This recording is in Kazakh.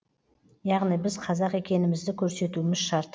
яғни біз қазақ екенімізді көрсетуіміз шарт